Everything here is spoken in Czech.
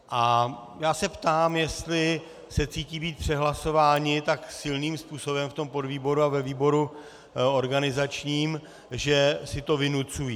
A já se ptám, jestli se cítí být přehlasováni tak silným způsobem v tom podvýboru a ve výboru organizačním, že si to vynucují?